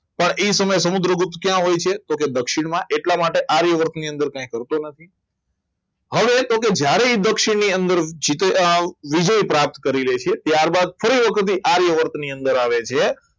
પણ એ સમયે સમુદ્રગુપ્ત ક્યાં હોય તો દક્ષિણમાં એટલા માટે આર્યવર્તની અંદર કંઈ કરતો નથી હવે તો કે જ્યારે દક્ષિણની અંદર વિજય પ્રાપ્ત કરી લે છે ત્યારબાદ ફરી વખત આર્યવર્ત ની અંદર આવે છે